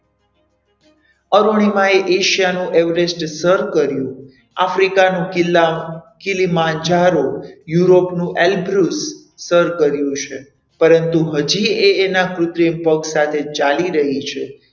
અરુણિમા એશિયાનું Everest સર કર્યું આફ્રિકાનું કિલ્લાનું કીલીમાન ઝારો, યુરોપનો એલ્પ્બુર્ઝ સર કર્યું છે પરંતુ હજી એ એનાં કૃત્રિમ પગ સાથે ચાલી રહી છે.